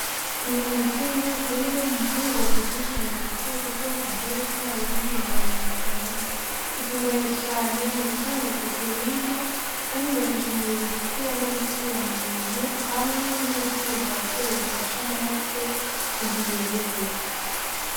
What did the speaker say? Inyama z'inka akabarimwe mumfungugwa zizwi cane kw'isi yose kubera uburyo bwayo n'intungamubiri itanga, ikungaye cane mugutanga poroteyine kandi igafasha umubiri gukura nogusubira mubuntu hamwe n'ubutare bw'afere bufasha amaraso kugira inguvu.